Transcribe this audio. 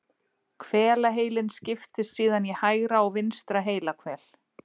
hvelaheilinn skiptist síðan í hægra og vinstra heilahvel